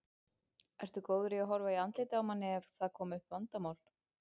Ertu góður að horfa í andlitið á manni ef það koma upp vandamál?